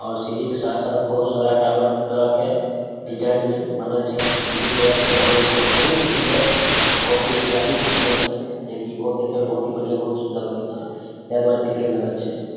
और सीढ़ी के साथ साथ बहुत सारा टावर तरह हेय डिज़ाइन मे बनल छै मंदिर तरह से बनल छै बहुत ही सुन्दर बहुत ही स्टाइलिश बनल छै जे की देखे मे बहुत ही बढ़िया बहुत ही सुंदर लागे छै | ते द्वारा एते भीड़ लगल छै ।